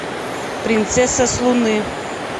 принцесса с луны